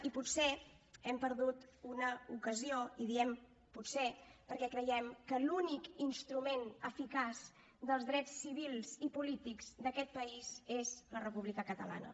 i potser hem perdut una ocasió i diem potser perquè creiem que l’únic instrument eficaç dels drets civils i polítics d’aquest país és la república catalana